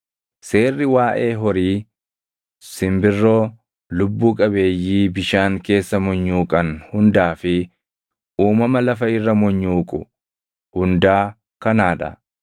“ ‘Seerri waaʼee horii, simbirroo, lubbuu qabeeyyii bishaan keessa munyuuqan hundaa fi uumama lafa irra munyuuqu hundaa kanaa dha.